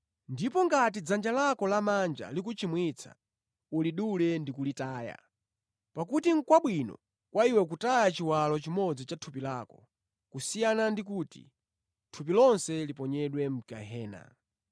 Ndipo ngati dzanja lako lamanja likuchimwitsa, ulidule ndi kulitaya. Pakuti nʼkwabwino kwa iwe kutaya chiwalo chimodzi cha thupi lako, kusiyana ndi kuti thupi lonse liponyedwe mʼgehena.